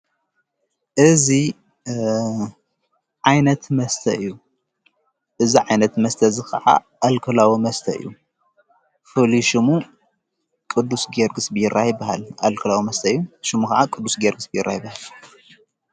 እዚ ዓይነት መስተ እዩ። እዚ ዓይነት መስተ እዚ ኸዓ ኣልኮላዊ መስተ እዩ። ፍሉይ ሽሙ ቅዱስ ጊዮርጊስ ቢራ ይብሃል። ኣልኮላዊ መስተ እዩ። ሹሙ ኸዓ ቅዱስ ጊዮርጊስ ቢራ ይበሃል።